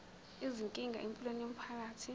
izinkinga empilweni yomphakathi